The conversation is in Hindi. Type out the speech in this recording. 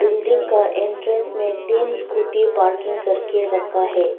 बिल्डिंग का एंट्रेंस में तीन स्कूटी पार्किंग करके रखा है।